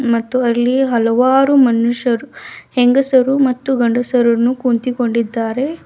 ಮತ್ತು ಅಲ್ಲಿ ಹಲವಾರು ಮನುಷ್ಯರು ಹೆಂಗಸರು ಮತ್ತು ಗಂಡಸರನ್ನು ಕುಂತಿಕೊಂಡಿದಾರೆ.